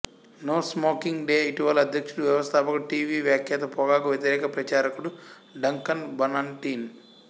no smoking day ఇటీవలి అధ్యక్షుడు వ్యవస్థాపకుడు టీవీ వ్యాఖ్యాత పొగాకు వ్యతిరేక ప్రచారకుడు డంకన్ బన్నటిన్